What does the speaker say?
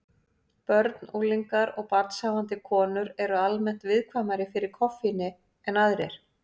Börn, unglingar og barnshafandi konur eru almennt viðkvæmari fyrir koffíni en aðrir.